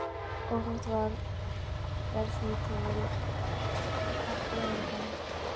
Óþekkt var því ef til heppilegra orð.